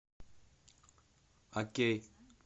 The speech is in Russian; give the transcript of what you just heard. окей